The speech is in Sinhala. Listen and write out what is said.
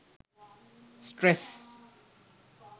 stress